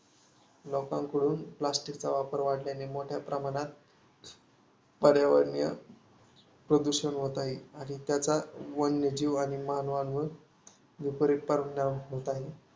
लोकांकडून प्लास्टिकचा वापर वाढल्याने मोठ्या प्रमाणात पर्यावरणीय प्रदूषण होत आहे. आणि त्याचा वन्यजीव आणि मानवावर विपरित परिणाम होत आहे.